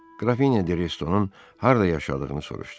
Qrafinya de Restonun harda yaşadığını soruşdu.